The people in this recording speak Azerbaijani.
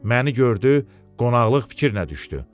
Məni gördü, qonaqlıq fikrinə düşdü.